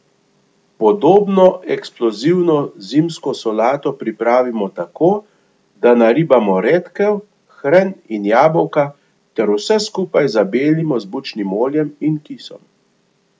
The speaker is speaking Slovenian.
Podobno eksplozivno zimsko solato pripravimo tako, da naribamo redkev, hren in jabolka ter vse skupaj zabelimo z bučnim oljem in kisom.